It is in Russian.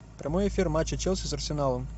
прямой эфир матча челси с арсеналом